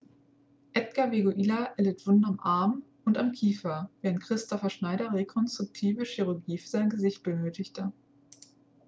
edgar veguilla erlitt wunden am arm und am kiefer während kristoffer schneider rekonstruktive chirurgie für sein gesicht benötigte